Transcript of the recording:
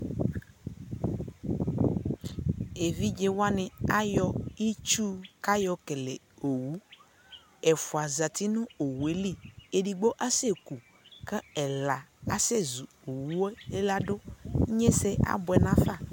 ɛvidzɛ waniayɔitsʋkʋayɔkɛlɛ ɔwʋ, ɛƒʋa zati nʋ ɔwʋɛli, ɛdigbɔ asɛ kʋ ɛla asɛ zʋ ɔwʋɛ ladʋ